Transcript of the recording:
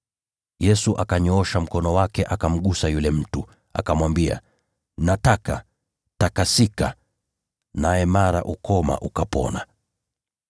Yesu akanyoosha mkono wake, akamgusa yule mtu, akamwambia, “Nataka. Takasika!” Na mara ukoma wake ukatakasika.